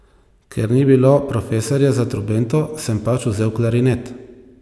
Ker ni bilo profesorja za trobento, sem pač vzel klarinet.